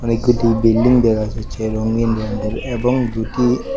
অনেককটি building দেহা যাচ্ছে রঙিন রঙের এবং দুটি--